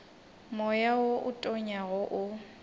moya wo o tonyago o